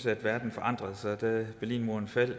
at verden forandrede sig da berlinmuren faldt